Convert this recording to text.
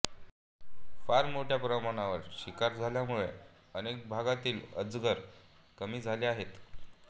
फार मोठ्या प्रमाणावर शिकार झाल्यामुळे अनेक भागांतील अजगर कमी झाले आहेत